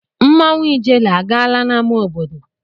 Mmanwụ ijele a gaala n'amá obodo?